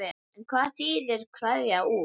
En hvað þýðir kveða úr?